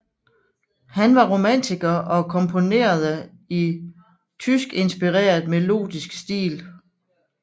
Han var romantiker og komponerede i tyskinspireret melodisk stil